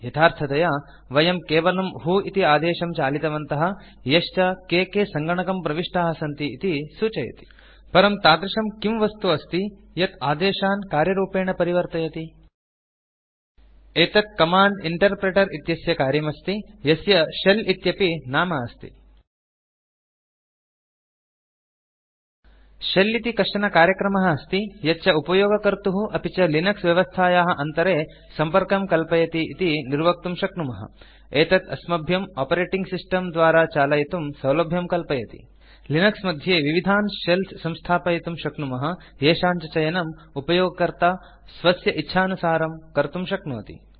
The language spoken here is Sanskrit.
यथार्थतया वयं केवलं व्हो इति आदेशं चालितवन्तः यश्च के के सङ्गणकं प्रविष्टाः सन्ति इति सूचयति परं तादृशं किं वस्तु अस्ति यत् आदेशान् कार्यरूपेण परिवर्तयति एतत् कमाण्ड इंटरप्रिटर इत्यस्य कार्यमस्ति यस्य शेल इत्यपि नाम अस्ति शेल इति कश्चन कार्यक्रमः अस्ति यच्च उपयोगकर्तुः अपि च लिनक्स व्यवस्थायाः अन्तरे सम्पर्कं कल्पयति इति निर्वक्तुं शक्नुमः एतत् अस्मभ्यं आपरेटिंग सिस्टम् द्वारा चालयितुं सौलभ्यं कल्पयति लिनक्स मध्ये विविधान् शेल्स् संस्थापयितुं शक्नुमः येषां च चयनम् उपयोगकर्ता स्वस्य इच्छानुसारं कर्तुं शक्नोति